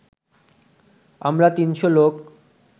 আমরা তিনশো লোক